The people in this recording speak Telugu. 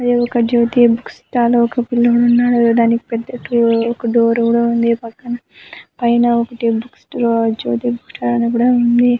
ఇది ఒక జ్యోతి బుక్ స్టాల్ . ఒక పిల్లాడున్నాడు. దానికి పెద్ద టు ఒక డోర్ కూడా ఉంది. పక్కన పైన ఒకటి book store Jyothi book stall అని కూడా ఉంది.